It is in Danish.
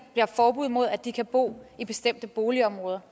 bliver forbud mod at de kan bo i bestemte boligområder